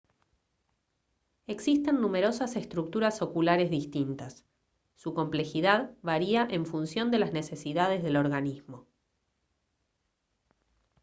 existen numerosas estructuras oculares distintas su complejidad varía en función de las necesidades del organismo